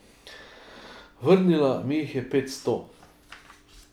Vrnila mi jih je petsto.